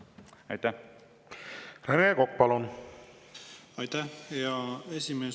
Aitäh, hea esimees!